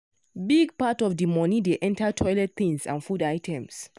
big part of the money dey enter toilet things and food items.